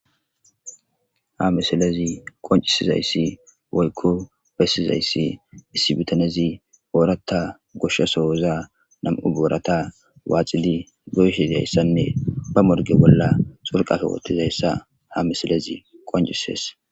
Ha misilezi qoncisizayssi woykko bessizayssi issi butanezi boorata goshshasowoza nam'u boorata waacidi goyshiyayssanne bamorge bolla sorqafe wottizayssa ha misilezi qoncises.